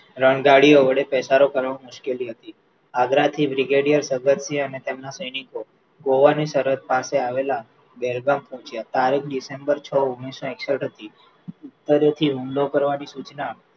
રંધારીઓ વડે પેસારો કરવામાં મુશ્કેલી હતી આગ્રા થી brigadier ભગતસિંહ અને તેમના સૈનિકો ગોવાની સહરદ પાસે આવેલા બેરગાંઉ પોહ્ચ્યા તારીખ ડિસેમ્બર છ ઓગણીસો એકસઠ હતી ઉપરે થી હુમલો કરવાની સૂચના